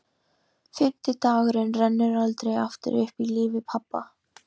Fimmti dagurinn rennur aldrei aftur upp í lífi pabba.